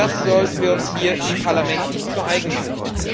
Das sollten wir uns hier im Parlament nicht zu eigen machen.